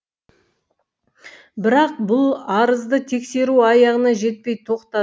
бірақ бұл арызды тексеру аяғына жетпей тоқтады